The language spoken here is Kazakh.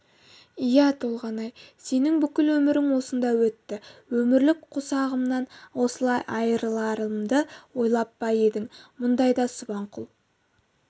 иә толғанай сенің бүкіл өмірің осында өтті өмірлік қосағымнан осылай айырыларымды ойлап па едім мұндайда субанқұл